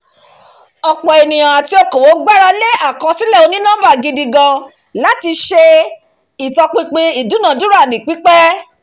ọ̀pọ̀ ènìyàn àti òkòwò gbarale àkọsílẹ̀ oní-nọ́mbà gidi gan-an láti ṣe ìtọpinpin ìdúnadúrà ní pípé